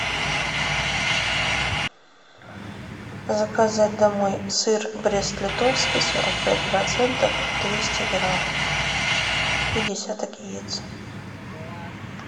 заказать домой сыр брест литовский сорок пять процентов двести грамм и десяток яиц